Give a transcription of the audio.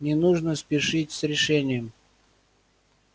не нужно спешить с решением